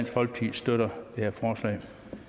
folkeparti støtter det her forslag